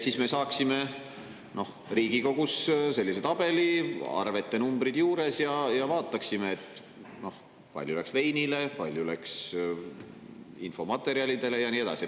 Siis me saaksime Riigikogus sellise tabeli, arvete numbrid juures, ja vaataksime, kui palju läks veinile, kui palju läks infomaterjalidele, ja nii edasi.